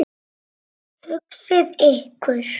Hugsið ykkur!